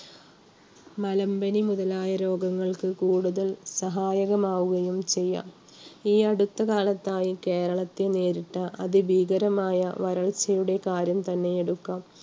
മലമ്പനി മുതലായ രോഗങ്ങൾക്ക് കൂടുതൽ സഹായകം ആവുകയും ചെയ്യാം. ഈ അടുത്തകാലത്തായി കേരളത്തെ നേരിട്ട അതിഭീകരമായ വരൾച്ചയുടെ കാര്യം തന്നെ എടുക്കാം.